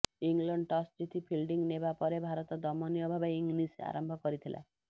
England toss ଜିତି fielding ନେବା ପରେ ଭାରତ ଦୟନୀୟ ଭାବେ ଇନିଂସ ଆରମ୍ଭ କରିଥିଲା